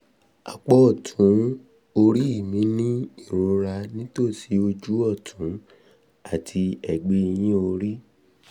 apá ọ̀tún orí um mi ń ní ìrora nítòsí ojú ọ̀tún àti ẹ̀gbẹ́ ẹ̀yìn orí